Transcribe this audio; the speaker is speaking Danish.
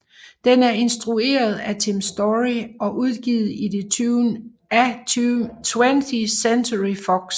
Den er instrueret af Tim Story og udgivet af 20th Century Fox